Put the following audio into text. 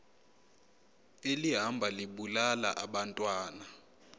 elihamba libulala abantwana